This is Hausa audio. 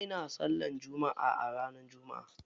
Musulmai na sallar jumma'a ranar jumma'a.